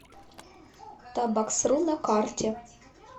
табаксру на карте